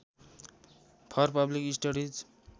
for public studies